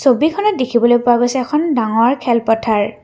ছবিখনত দেখিবলৈ পোৱা গৈছে এখন ডাঙৰ খেল পথাৰ।